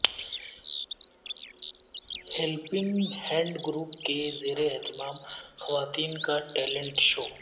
helping hand group کے زیر اہتمام خواتین کا ٹیلنٹ شو